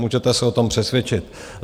Můžete se o tom přesvědčit.